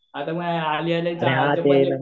आता बघ